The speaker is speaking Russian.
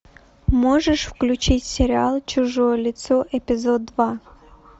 можешь включить сериал чужое лицо эпизод два